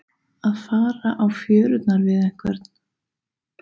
Að fara á fjörurnar við einhvern